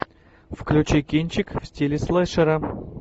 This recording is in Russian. включи кинчик в стиле слэшера